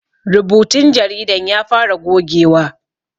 Rubutun jaridan ya fara gogewa